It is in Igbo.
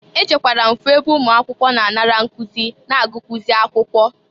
E jekwara fụ ebe ụmụakwụkwọ na-anara nkụzị na agụkwụzị akwụkwọ.